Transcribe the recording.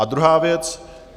A druhá věc.